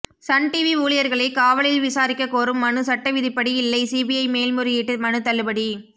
Sun TV ஊழியர்களை காவலில் விசாரிக்க கோரும் மனு சட்டவிதிப்படி இல்லை சிபிஐ மேல்முறையீட்டு மனு தள்ளுபடி